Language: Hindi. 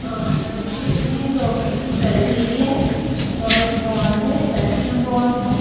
और इसमें डॉग्स की पैडगिरी है और बॉन्स है कैल्शियम बॉन्स है।